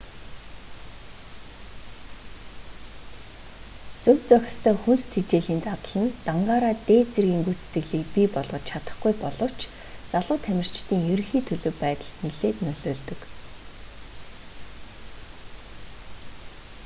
зөв зохистой хүнс тэжээлийн дадал нь дангаараа дээд дэргийн гүйцэтгэлийг бий болгож чадахгүй боловч залуу тамирчдын ерөнхий төлөв байдалд нилээд нөлөөлдөг